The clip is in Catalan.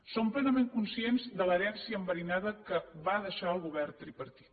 som plenament conscients de l’herència enverinada que va deixar el govern tripartit